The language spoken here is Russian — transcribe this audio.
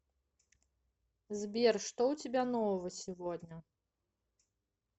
сбер что у тебя нового сегодня